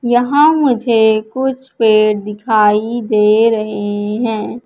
यहां मुझे कुछ पेड़ दिखाई दे रहे हैं।